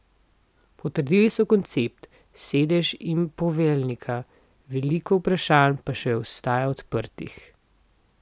Potrdili so koncept, sedež in poveljnika, veliko vprašanj pa še ostaja odprtih.